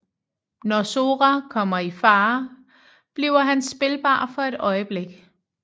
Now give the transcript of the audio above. Når Sora kommer i farer bliver han spilbar for et øjeblik